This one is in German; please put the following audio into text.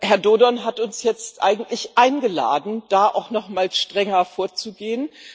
Herr Dodon hat uns jetzt eigentlich eingeladen, da auch nochmal strenger vorzugehen.